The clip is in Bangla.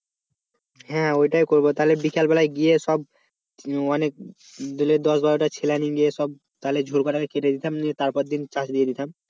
হ্যাঁ ওইটাই করব তাহলে বিকেল বেলায় গিয়ে সব অনেক দিলে দশ বারো টা ছেলে নিয়ে সব তাহলে কেটে দিতাম নিয়ে তারপর দিন চাষ দিয়ে দিতাম